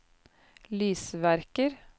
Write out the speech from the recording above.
lysverker